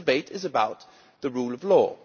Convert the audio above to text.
This debate is about the rule of law.